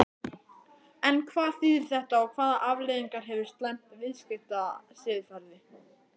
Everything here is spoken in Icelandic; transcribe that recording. En hvað þýðir þetta og hvaða afleiðingar hefur slæmt viðskiptasiðferði?